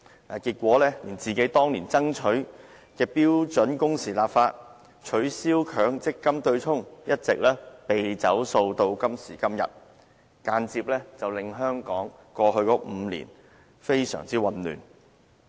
但是，結果連工聯會本身當年爭取的標準工時立法、取消強積金對沖一直"被走數"到現在，間接令香港過去5年非常混亂。